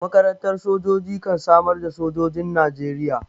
Makarantar sojoji kan samar da sojojin Najeriya.